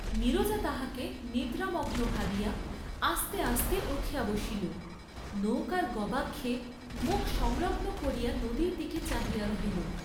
নীরজা তাহাকে নিদ্রামগ্ন ভাবিয়া আস্তে আস্তে উঠিয়া বসিল, নৌকার গবাক্ষে মুখ সংলগ্ন করিয়া নদীর দিকে চাহিয়া রহিল।